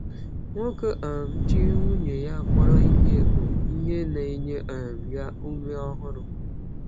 Nwoke um ji nwunye ya kpọrọ ihe bụ ihe na-enye um ya ume ọhụrụ.